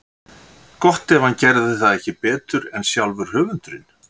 Gott ef hann gerði það ekki betur en sjálfur höfundurinn.